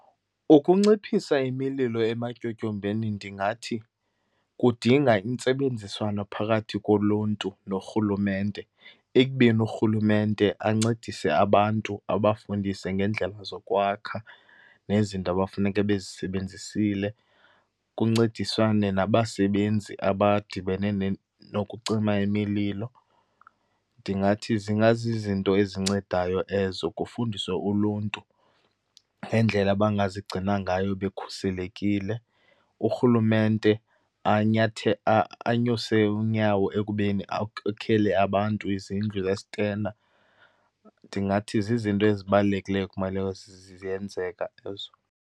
Ukunciphisa imililo ematyotyombeni ndingathi kudinga intsebenziswano phakathi koluntu norhulumente, ekubeni urhulumente ancedise abantu, abafundise ngeendlela zokwakha nezinto abafuneke bezisebenzisile kuncediswane nabasebenzi abadibene nokucima imililo. Ndingathi zingazizinto ezincedayo ezo, kufundiswe uluntu ngendlela abangazigcina ngayo bekhuselekile. Urhulumente anyuse unyawo ekubeni akhele abantu izindlu zesitena. Ndingathi zizinto ezibalulekileyo ekumele ziyenzeka ezo.